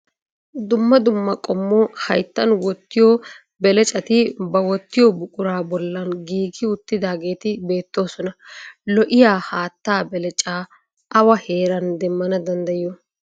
Dumma dumma qommo hayttan wottiyo belecati ba wottiyo buquraa bollan giigidi uttidaageeti beettoosona. Lo"iyaa hattaa belecaa awa heeran demmana danddayiyo?